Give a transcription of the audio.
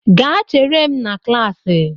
Gaa chere m na klaasị!